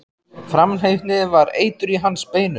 Framhleypni var eitur í hans beinum.